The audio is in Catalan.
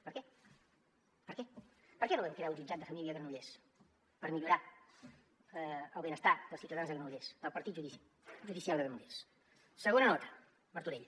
per què per què per què no vam crear un jutjat de família a granollers per millorar el benestar dels ciutadans de granollers del partit judicial de granollers segona nota martorell